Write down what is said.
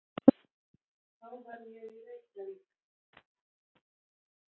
Þá verð ég í Reykjavík.